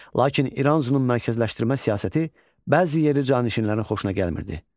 Lakin İranzunun mərkəzləşdirmə siyasəti bəzi yerli canişinlərin xoşuna gəlmirdi.